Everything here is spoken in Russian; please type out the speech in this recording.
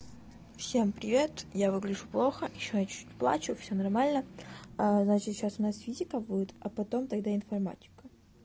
всем привет я выгляжу плохо ещё я чуть-чуть плачу все нормально аа значит сейчас у нас физика будет а потом тогда информатика